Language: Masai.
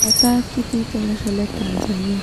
Etaa kitii tolosho le Tanzania.